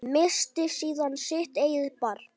Missti síðan sitt eigið barn.